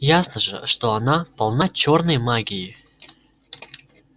ясно же что она полна чёрной магии